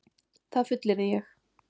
Það fullyrði ég.